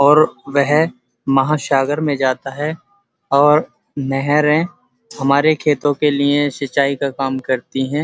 और वह महासागर में जाता है और नहरें हमारे खेतों के लिए सिंचाई का काम करती हैं।